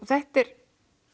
þetta er